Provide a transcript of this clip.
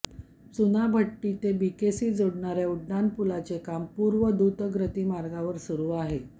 चुनाभट्टी ते बीकेसी जोडणाऱया उड्डाणपुलाचे काम पूर्व द्रुतगती मार्गावर सुरू आहे